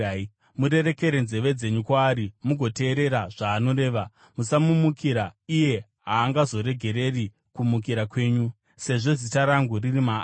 Murerekere nzeve dzenyu kwaari mugoteerera zvaanoreva. Musamumukira; iye haangazoregereri kumukira kwenyu, sezvo Zita rangu riri maari.